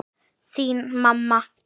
Þín, mamma.